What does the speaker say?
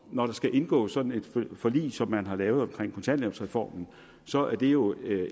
når der skal indgås sådan et forlig som man har lavet omkring kontanthjælpsreformen så er det jo